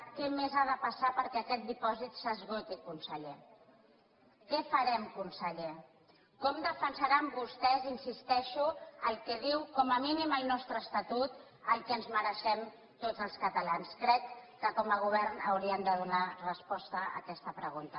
què més ha de passar perquè aquest dipòsit s’esgoti conseller què farem conseller com defensaran vostès hi insisteixo el que diu com a mínim el nostre estatut el que ens mereixem tots els catalans crec que com a govern haurien de donar resposta a aquesta pregunta